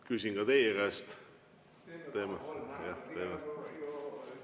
Küsin ka teie käest.